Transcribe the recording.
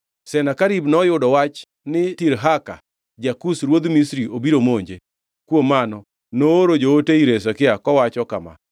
Senakerib noyudo wach ni Tirhaka, ja-Kush ruodh Misri obiro monje. Kuom mano, nooro joote ir Hezekia kowacho kama: